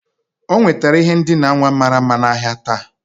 O nwetara ihe ndina nwa mara mma n'ahịa taa